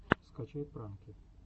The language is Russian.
скачай пранки